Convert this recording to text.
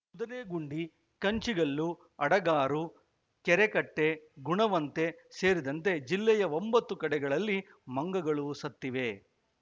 ಕುದುರೆಗುಂಡಿ ಕಂಚಿಗಲ್ಲು ಅಡಗಾರು ಕೆರೆಕಟ್ಟೆ ಗುಣವಂತೆ ಸೇರಿದಂತೆ ಜಿಲ್ಲೆಯ ಒಂಬತ್ತು ಕಡೆಗಳಲ್ಲಿ ಮಂಗಗಳು ಸತ್ತಿವೆ